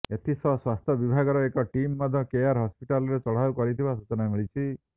ଏଥିସହ ସ୍ୱାସ୍ଥ୍ୟ ବିଭାଗର ଏକ ଟିମ୍ ମଧ୍ୟ କେୟାର ହସ୍ପିଟାଲରେ ଚଢାଉ କରିଥିବା ସୂଚନା ମିଳିଛି